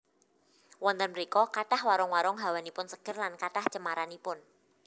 Wonten mrika kathah warung warung hawanipun seger lan kathah cemaranipun